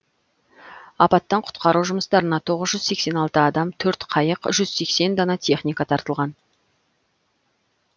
апаттан құтқару жұмыстарына тоғық жүз сексен алты адам төрт қайық жүз сексен дана техника тартылған